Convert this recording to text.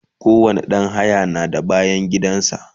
kowani ɗan haya na da bayangidan sa